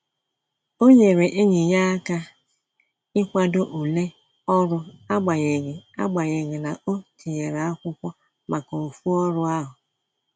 O nyere enyi ya aka ikwado ule ọrụ agbanyeghi agbanyeghi na-o tinyere akwụkwọ maka ofu ọrụ ahu